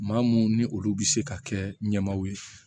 Maa mun ni olu bɛ se ka kɛ ɲɛmaaw ye